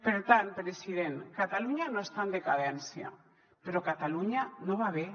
per tant president catalunya no està en decadència però catalunya no va bé